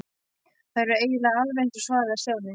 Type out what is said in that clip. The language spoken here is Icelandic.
Þær eru eiginlega alveg eins svaraði Stjáni.